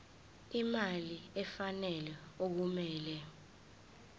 imali efanele okumele